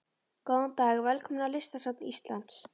Góðan dag. Velkomin á Listasafn Íslands.